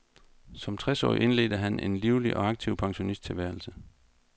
Som tres årig indledte han en livlig og aktiv pensionisttilværelse.